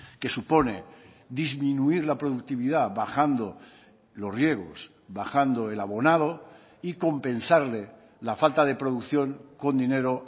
que supone disminuir la productividad bajando los riegos bajando el abonado y compensarle la falta de producción con dinero